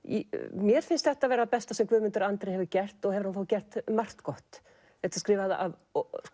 mér finnst þetta það besta sem Guðmundur Andri hefur gert og hefur hann þó gert margt gott þetta er skrifað af